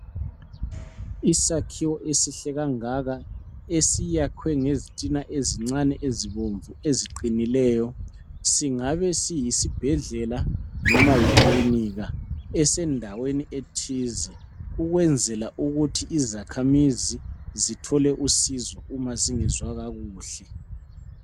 Isakhiwo esihle kangaka esiyakhiwe ngezitina ezincane ezibomvu eziqinileyo singabe siyisibhedlela noma yikilinika esendaweni ethize ukwenzela ukuthi izakhamizi zithole usizo ma zingezwa kakuhle.